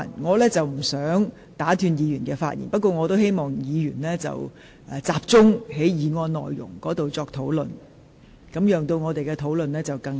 我不想打斷議員發言，但希望議員集中討論議案的內容，使辯論更為聚焦。